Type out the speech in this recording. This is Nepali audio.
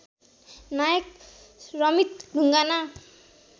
नायक रमित ढुङ्गाना